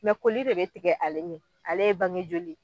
Mɛ koli de bɛ tigɛ ale ɲɛ, ale ye bange joli ye.